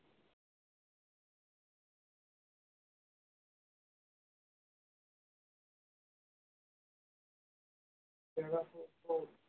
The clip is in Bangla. পেয়ারাতে